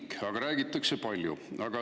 Aga sellest räägitakse palju.